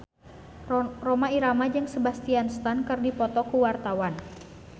Rhoma Irama jeung Sebastian Stan keur dipoto ku wartawan